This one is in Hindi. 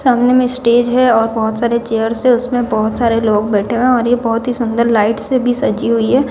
सामने में स्टेज है और बहोत सारे चेयर्स है उसमें बहोत सारे लोग बैठे हैं और यह बहोत ही सुंदर लाइट से भी सजी हुई है।